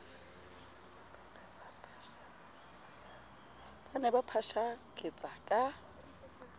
ba ne ba phashaketsa ka